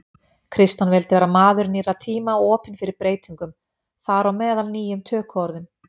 Kristján vildi vera maður nýrra tíma og opinn fyrir breytingum, þar á meðal nýjum tökuorðum.